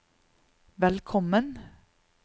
velkommen